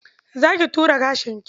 Za ki ture gashinki?